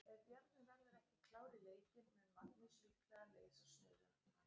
Ef Bjarni verður ekki klár í leikinn mun Magnús líklega leysa stöðu hans.